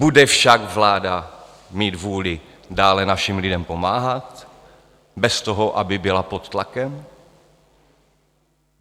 Bude však vláda mít vůli dále našim lidem pomáhat bez toho, aby byla pod tlakem?